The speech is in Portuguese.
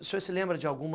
O senhor se lembra de alguma